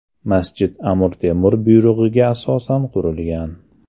Masjid Amir Temur buyrug‘iga asosan qurilgan.